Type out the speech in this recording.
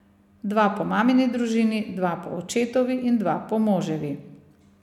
Dva po mamini družini, dva po očetovi in dva po moževi.